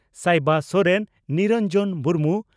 Sayba Soren Niranjan Murmu